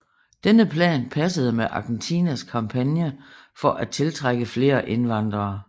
Denne plan passede med Argentinas kampagne for at tiltrække flere indvandrere